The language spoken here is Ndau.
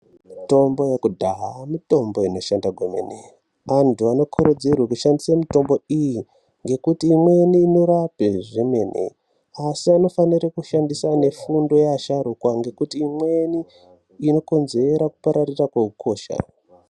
Mitombo yekudhaya mitombo inoshanda kwemene. Antu anokurudzirwe kushandisa mutombo iyi, ngekuti imweni inorape zvemene, asi anofanire kushandisa nefundo yeasharuka, ngekuti imweni inokonzera kupararira kweukosha.